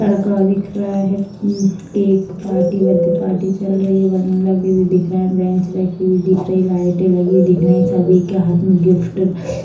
लड़का दिख रहा है मम्म एक पार्टी बर्थडे पार्टी चल रही है बैलून लगी हुई दिख रहे हैं बेंच रखी हुई दिख रही हैं लाइटें लगी दिख रही हैं सभी के हाथ में गिफ्ट --